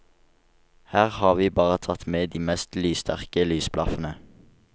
Her har vi bare tatt med de mest lyssterke lysblaffene.